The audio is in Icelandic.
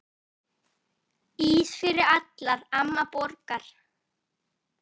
Ís fyrir alla, amma borgar